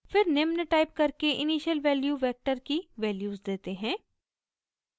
हम निम्न टाइप करके इनिशियल वैल्यू वेक्टर की वैल्यूज़ देते हैं